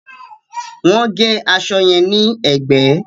Wọ́n gé aṣọ yẹn ní ẹ̀gbẹ́